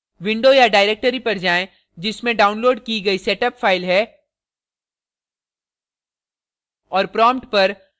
window या directory पर जाएँ जिसमें downloaded की गई setup file है और prompt पर